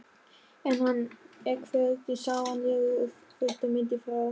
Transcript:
En hann er hvergi sjáanlegur og fréttamyndin frá